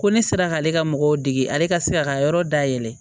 Ko ne sera k'ale ka mɔgɔw dege ale ka se ka ka yɔrɔ dayɛlɛ